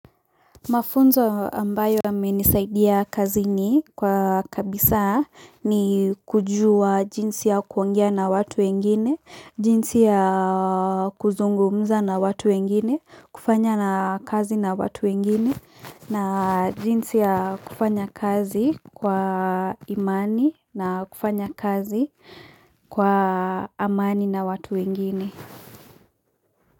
Mafunzo ambayo yamenisaidia kazi ni kwa kabisa ni kujua jinsi ya kuongea na watu wengine, jinsi ya kuzungumza na watu wengine, kufanya na kazi na watu wengine, na jinsi ya kufanya kazi kwa imani na kufanya kazi kwa amani na watu wengine.